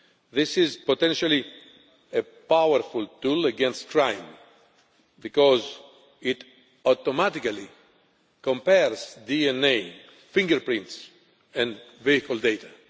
This is potentially a powerful tool against crime, because it automatically compares DNA, fingerprints and vehicle data.